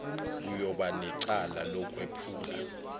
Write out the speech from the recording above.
uyoba necala lokwephula